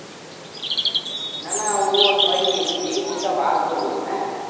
না না ওর হয়নি বুঝলি ওর টা বার করবো হ্যাঁ